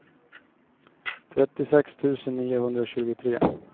trettiosex tusen niohundratjugotre